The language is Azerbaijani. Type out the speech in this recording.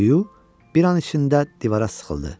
Hüq bir an içində divara sıxıldı.